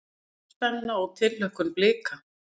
Spenna og tilhlökkun Blika